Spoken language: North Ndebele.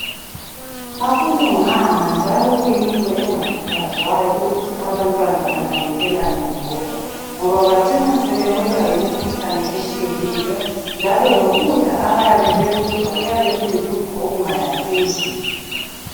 Akulunganga njalo kuyinto engakhuthazwayo ukuthi abantwana banakekelelane bodwa ngoba bacina sebewelwa yimikhuhlane etshiyeneyo njalo lokudla abayabe bekudla kuyabe kuyikudla okungayakhi imzimba.